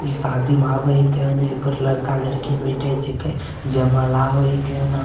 इ शादी में आवे के न एपर लड़का-लड़की बैठे छीके जयमाला होइ कैन --